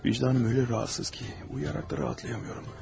Vicdanım elə narahatsız ki, uyuyaraq da rahatlaya bilmirəm.